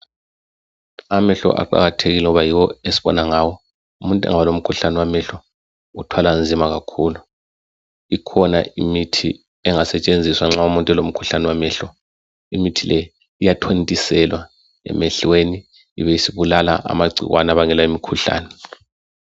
Amehlo aqakathekile ngoba yiwo esibona ngawo. Umuntu engaba lomkhuhlane wamehlo uthwala nzima kakhulu. Ikhona imithi engasetshenziswa nxa umuntu elomkhuhlane wamehlo. Imithi le iyathontiselwa emehlweni ibisibulala amagcikwane abangela imikhuhlane.